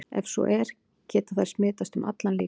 Ef svo er, geta þær smitast um allan líkamann?